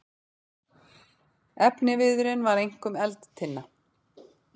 Efniviðurinn var einkum eldtinna.